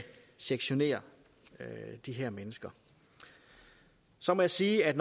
sektionere de her mennesker så må jeg sige at